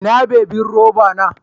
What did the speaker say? Ina bibin roba na?